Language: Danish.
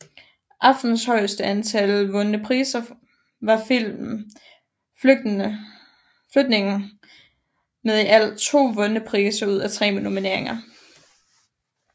Aftenens højeste antal vundne priser var filmen Flygtningen med i alt 2 vundne priser ud af 3 nomineringer